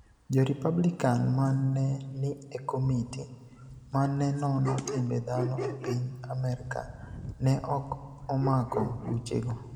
Jo-Republicani ma ni e nii e komiti ma ni e nono timbe dhano e piniy Amerka ni e ok omako buchego.